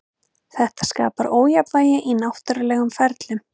Þetta skapar ójafnvægi í náttúrulegum ferlum.